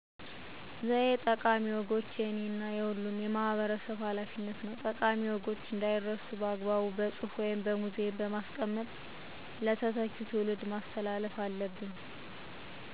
ዘዬ ጠቃሚ ወጎች የእኔ እና የሁሉም ማህበረሰብ ሀላፊነት ነው። ጠቃሚ ወጎች እንዳይረሱ በአግባቡ በፅሁፍ ወይም በሙዚየም በማስቀመጥ ለተተኪው ትውልድ ማስተላለፍ አለብን።